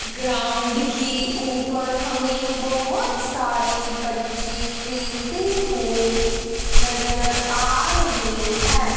Ground की ऊपर हमें बहुत सारी बच्चे खेलते हुए नजर आ रहे हैं।